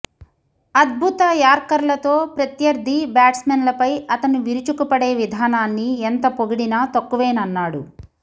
అద్భుత యార్కర్లతో ప్రత్యర్థి బ్యాట్స్మెన్లపై అతను విరుచుకుపడే విధానాన్ని ఎంత పొగిడినా తక్కువేనన్నాడు